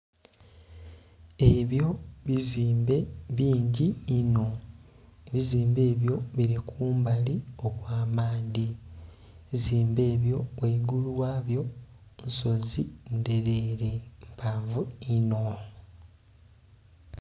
Ebyo bizimbe bingi inho. Ebizimbe ebyo bili kumbali okw'amaadhi. Ebizimbe ebyo ghaigulu ghabyo nsozi ndheleele, mpanvu inho.